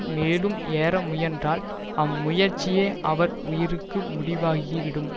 மேலும் ஏற முயன்றால் அம் முயற்சியே அவர் உயிருக்கு முடிவாகிவிடும்